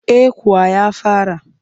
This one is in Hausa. Eh kuwa ya fara